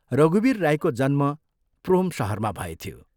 रघुवीर राईको जन्म प्रोम शहरमा भएथ्यो।